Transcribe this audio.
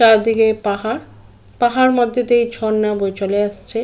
চারদিকে পাহাড় পাহাড় মধ্যে দিয়ে ঝর্ণা বয়ে চলে আসছে ।